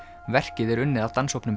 verkið er unnið af